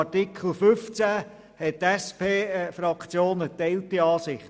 Artikel 15 hat die SPJUSO-PSA-Fraktion geteilte Ansichten.